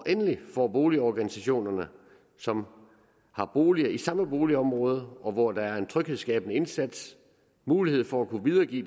endelig får boligorganisationer som har boliger i samme boligområde og hvor der er en tryghedsskabende indsats mulighed for at kunne videregive